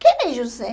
Quem é José?